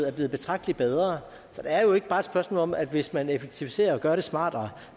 er blevet betragtelig bedre så det er jo ikke bare et spørgsmål om at hvis man effektiviserer og gør det smartere